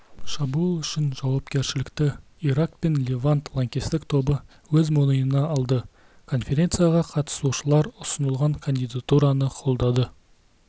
шабуыл үшін жауапкершілікті ирак пен левант лаңкестік тобы өз мойнына алды конференцияға қатысушылар ұсынылған кандидатураны қолдады